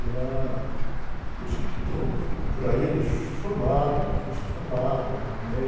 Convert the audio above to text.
E ela... Os que estão por aí ainda se formaram, o está formado, a.